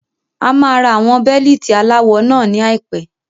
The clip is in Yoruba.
A máa ra àwọn Bẹ́líìtì aláwọ náà ní àìpé.